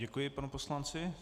Děkuji panu poslanci.